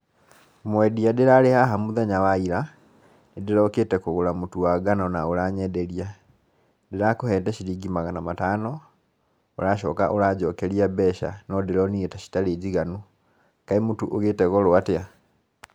Mwendia ndῖrarῖ haha mῦthenya wa ira, ndῖrokῖte kῦgῦra mῦtῦ wa ngano na ῦranyenderia, ndirakῦnete ciringi magana matano, ῦracoka ῦranjokeria mbeca na ndῖronire ta itarῖ njiganu, kaῖ mῦtῦ ῦgῖte goro atia?